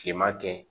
Kilema kɛ